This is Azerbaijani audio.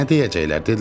Ə nə deyəcəklər?